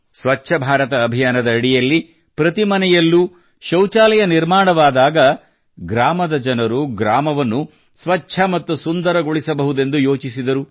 ಸ್ವಚ್ಛ ಭಾರತ ಅಭಿಯಾನದ ಅಡಿಯಲ್ಲಿ ಪ್ರತಿ ಮನೆಯಲ್ಲೂ ಶೌಚಾಲಯ ನಿರ್ಮಾಣವಾದಾಗ ಗ್ರಾಮದ ಜನರು ಗ್ರಾಮವನ್ನು ಸ್ವಚ್ಛ ಮತ್ತು ಸುಂದರಗೊಳಿಸ ಬೇಕೆಂದು ಯೋಚಿಸಿದರು